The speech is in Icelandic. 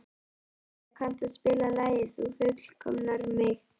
Sigurleif, kanntu að spila lagið „Þú fullkomnar mig“?